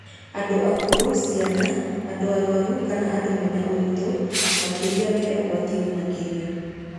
Andũ akũrũ, ciana, andũ arwaru kana andũ mena ũritũ makĩria me ũgwati-inĩ makĩria.